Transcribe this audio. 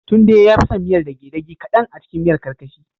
Tunde yafi son miyar dage gade kadan acikin miyar karkashi